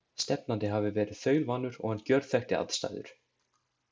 Stefnandi hafi verið þaulvanur og hann gjörþekkti aðstæður.